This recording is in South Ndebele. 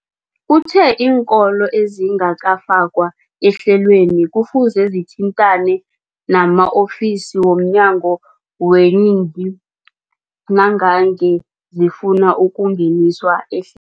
Uthe iinkolo ezingakafakwa ehlelweneli kufuze zithintane nama-ofisi wo mnyango weeyingi nangange zifuna ukungeniswa ehl